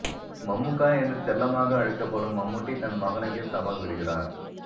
மம்முக்கா என்று செல்லமாக அழைக்கப்படும் மம்மூட்டி தன் மகனுக்கே சவால் விடுகிறார்